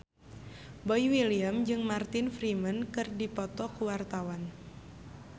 Boy William jeung Martin Freeman keur dipoto ku wartawan